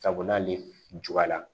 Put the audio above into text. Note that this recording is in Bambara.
Sabu n'ale juguyara